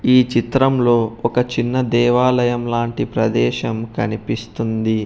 ఈ చిత్రం లో ఒక చిన్న దేవాలయం లాంటి ప్రదేశం కనిపిస్తుంది.